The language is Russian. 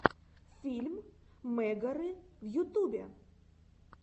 фильм мегары в ютубе